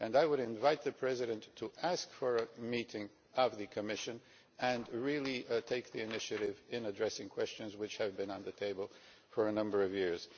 I would invite the President to ask for a meeting of the Commission and really take the initiative in addressing questions which have been on the table for a number of years.